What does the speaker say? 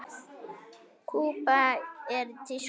Kúba er í tísku.